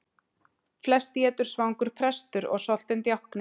Flest étur svangur prestur og soltinn djákni.